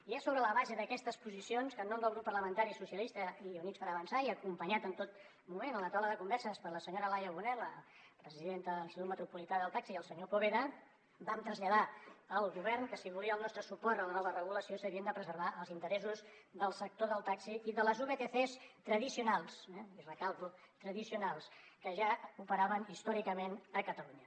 i és sobre la base d’aquestes posicions que en nom del grup parlamentari socialistes i units per avançar i acompanyats en tot moment a la taula de converses per la senyora laia bonet la presidenta de l’institut metropolità del taxi i el senyor poveda vam traslladar al govern que si volia el nostre suport a la nova regulació s’havien de preservar els interessos del sector del taxi i de les vtcs tradicionals i recalco tradicionals que ja operaven històricament a catalunya